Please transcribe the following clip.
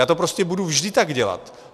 Já to prostě budu vždy tak dělat.